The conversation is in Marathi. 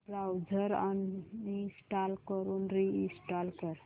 ब्राऊझर अनइंस्टॉल करून रि इंस्टॉल कर